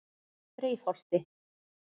Breiðholti